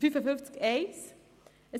Zu Artikel 55 Absatz 1: